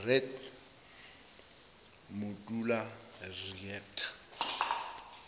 bed modula reactor